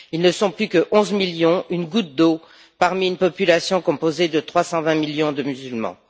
Ils ne sont plus que 11 millions, une goutte d'eau parmi une population composée de 320 millions de musulmans.